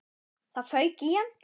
Það fauk í hann.